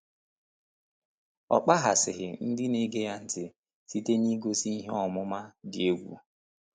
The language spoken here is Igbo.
Ọ kpaghasịghị ndị na-ege ya ntị site n’igosi ihe ọmụma dị egwu.